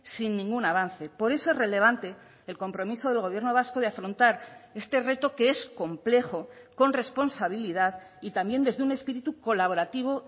sin ningún avance por eso es relevante el compromiso del gobierno vasco de afrontar este reto que es complejo con responsabilidad y también desde un espíritu colaborativo